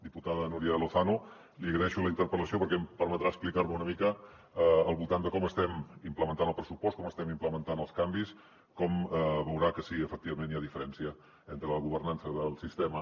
diputada núria lozano li agraeixo la interpel·lació perquè em permetrà explicar me una mica al voltant de com estem implementant el pressupost com estem implementant els canvis com veurà que sí efectivament hi ha diferència entre la governança del sistema